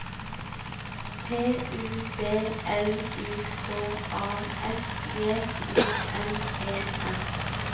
P U B L I K A S J O N E R